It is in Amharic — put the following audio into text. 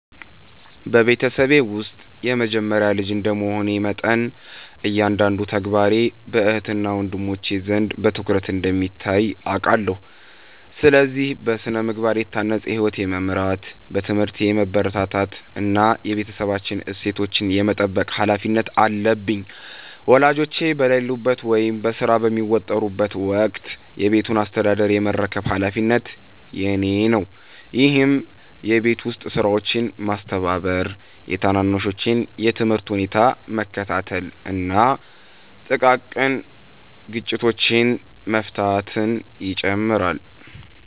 በቤተሰቤ ውስጥ የመጀመሪያ ልጅ እንደ መሆኔ መጠን፤ እያንዳንዱ ተግባሬ በእህትና ወንድሞቼ ዘንድ በትኩረት እንደሚታይ አውቃለሁ። ስለዚህ: በሥነ-ምግባር የታነጸ ሕይወት የመምራት፣ በትምህርቴ የመበርታት እና የቤተሰባችንን እሴቶች የመጠበቅ ኃላፊነት አለብኝ። ወላጆቼ በሌሉበት ወይም በሥራ በሚወጠሩበት ወቅት የቤቱን አስተዳደር የመረከብ ኃላፊነት የእኔ ነው፤ ይህም የቤት ውስጥ ሥራዎችን ማስተባበር፤ የታናናሾቼን የትምህርት ሁኔታ መከታተል እና ጥቃቅን ግጭቶችን መፍታትን ይጨምራል።